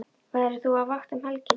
Verður þú á vakt um helgina?